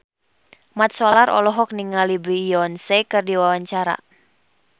Mat Solar olohok ningali Beyonce keur diwawancara